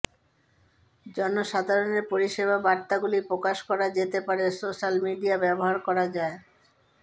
জনসাধারণের পরিষেবা বার্তাগুলি প্রকাশ করা যেতে পারে সোশ্যাল মিডিয়া ব্যবহার করা যায়